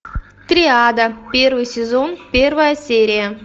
триада первый сезон первая серия